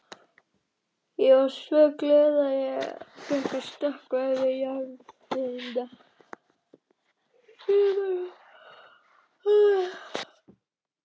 Ég varð svo glöð að ég ætlaði að stökkva yfir járngrindina, skrifar hún.